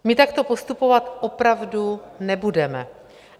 My takto postupovat opravdu nebudeme.